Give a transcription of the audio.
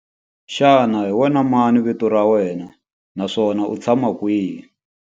Xana hi wena mani vito ra wena naswona u tshama kwihi?